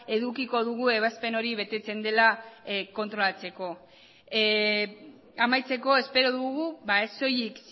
edukiko dugu ebazpen hori betetzen dela kontrolatzeko amaitzeko espero dugu ez soilik